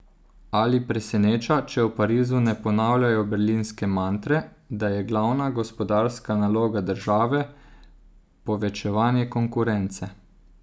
Ali preseneča, če v Parizu ne ponavljajo berlinske mantre, da je glavna gospodarska naloga države povečevanje konkurence?